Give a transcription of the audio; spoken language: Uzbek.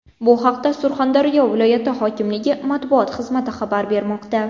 Bu haqda Surxondaryo viloyati hokimligi matbuot xizmati xabar bermoqda.